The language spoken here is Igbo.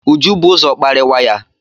Uju bu ụzọ kparịwa ya.